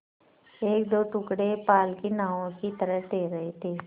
एकदो टुकड़े पाल की नावों की तरह तैर रहे थे